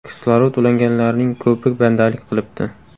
Kislorod ulanganlarning ko‘pi bandalik qilibdi.